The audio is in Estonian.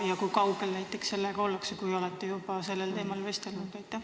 Ja kui kaugel sellega ollakse, kui te juba olete ülikoolidega sellel teemal vestelnud?